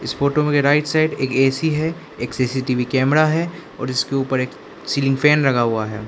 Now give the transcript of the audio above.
इस फोटो में right side एक ए_सी है एक सी_सी_टी_वी कैमरा है और इसके ऊपर एक सीलिंग फैन लगा हुआ है।